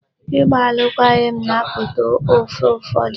Ịgba alụkwaghịm na-apụta ofe ụfọdụ.